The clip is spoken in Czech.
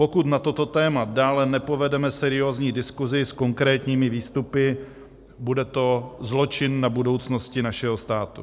Pokud na toto téma dále nepovedeme seriózní diskusi s konkrétními výstupy, bude to zločin na budoucnosti našeho státu.